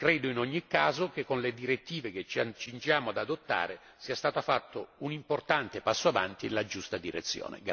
Credo in ogni caso che con le direttive che ci accingiamo ad adottare sia stato fatto un importante passo avanti nella giusta direzione.